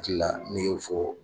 kila n'i y'o fɔ